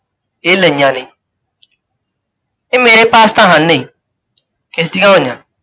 ਇਹ ਲਈਆਂ ਨਹੀਂ । ਇਹ ਮੇਰੇ ਪਾਸ ਤਾਂ ਹਨ ਨਹੀਂ, ਕਿਸ ਦੀਆਂ ਹੋਈਆਂ?